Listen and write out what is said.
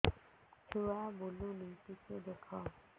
ଛୁଆ ବୁଲୁନି ଟିକେ ଦେଖ